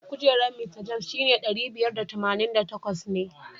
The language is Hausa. Kujerar Mista James shine ɗari biyar da tamanin da takwas ne.